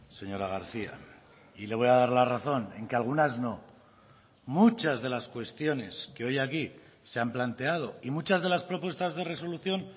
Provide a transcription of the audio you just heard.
señora garcía y le voy a dar la razón en que algunas no muchas de las cuestiones que hoy aquí se han planteado y muchas de las propuestas de resolución